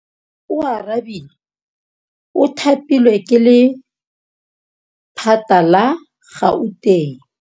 Oarabile o thapilwe ke lephata la Gauteng.